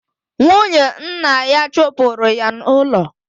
Nwunye nna ya chụpụrụ ya n'ụlọ.